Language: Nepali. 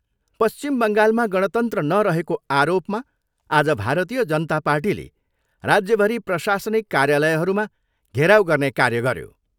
पश्चिम बङ्गालमा गणतन्त्र नरहेको आरोपमा आज भारतीय जनता पार्टीले राज्यभरि प्रशासिनक कार्यालयहरूमा घेराउ गर्ने कार्य गऱ्यो।